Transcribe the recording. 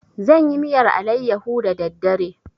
Zan yi miyar alayyaho da daddare.